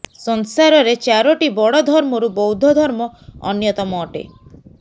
ସଂସାରରେ ଚାରୋଟି ବଡ ଧର୍ମରୁ ବୌଦ୍ଧ ଧର୍ମ ଅନ୍ୟତମ ଅଟେ